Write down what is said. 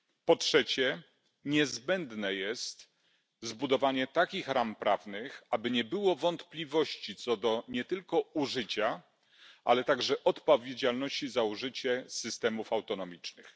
Po trzecie, niezbędne jest zbudowanie takich ram prawnych, aby nie było wątpliwości co do nie tylko użycia, ale także odpowiedzialności za użycie systemów autonomicznych.